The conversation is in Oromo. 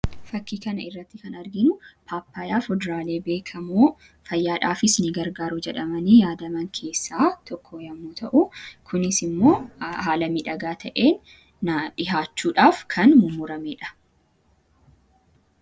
Fakkii kanarraatti kan arginu paappayyaa fuduraalee beekkamoo fayyaadhaafis ni gargaaru jedhamanii yaadaman keessaa tokko yommuu ta'u, kunisimmoo haala miidhagaa ta'een dhiyaachuudhaaf kan mummuramedha.